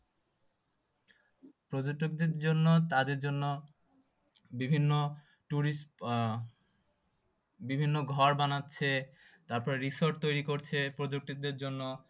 পর্যটকদের জন্য তাদের জন্য বিভিন্ন tourist আহ বিভিন্ন ঘর বানাচ্ছে তারপর resort তৈরী করছে পর্যটকদের জন্য